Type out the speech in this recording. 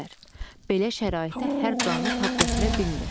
Belə şəraitə hər canlı tab gətirə bilmir.